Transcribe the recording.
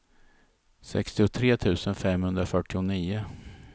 sextiotre tusen femhundrafyrtionio